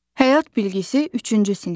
Həyat bilgisi, üçüncü sinif.